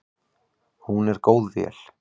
Hún er góð vél.